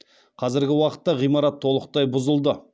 қазіргі уақытта ғимарат толықтай бұзылды